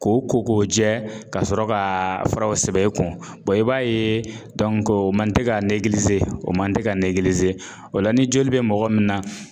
K'o ko k'o jɛ ka sɔrɔ ka fara o sɛbɛn e kun i b'a ye o man te ka o man te ka o la ni joli bɛ mɔgɔ min na